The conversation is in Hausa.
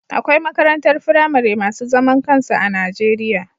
Akwai makarantar firamare masu zaman kansu a Najeriya